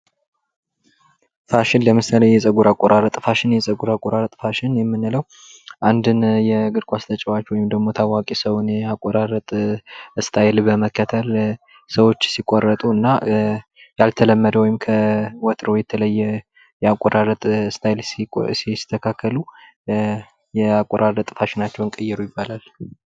ፋሽን ለምሳሌ የፀጉር አቆራረጥ ፋሽን የፀጉር አቆራረጥ ፋሽን የምንለው አንድን የእግር ኳስ ተጫዋች ወይም ደግሞ ታዋቂ ሰው ያቆራረጥ ስታይል በመከተል ሰዎች ሲቆረጡ እና ያልተለመደ ወይም ከወትሮው የተለየ ያቆራረጥ ስታይል ሲስተካከሉ ያቆራረጥ ፋሽናቸውን ቀየሩ ይባላል።